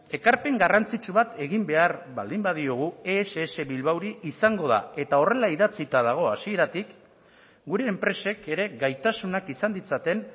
ekarpen garrantzitsu bat egin behar baldin badiogu ess bilbaori izango da eta horrela idatzita dago hasieratik gure enpresek ere gaitasunak izan ditzaten